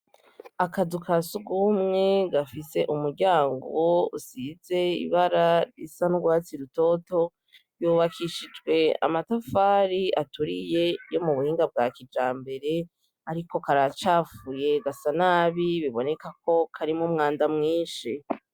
Akazu kasugumwe gafise umuryango usize ibara risa n’urwatsi rutoto, yubakishijwe amatafari aturiye yo mubuhinga bwa kijambere ariko karacafuye gasa nabi bibonekako karimwo umwanda mwinshi.